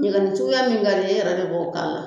Ɲɛgɛnni suguya min ka di i ye e yɛrɛ de bɔ k'a la